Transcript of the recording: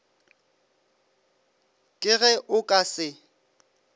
ke ge o ka se